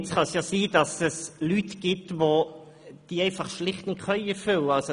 Es kann sein, dass es Leute gibt, die diese Vorgaben schlicht nicht erfüllen können.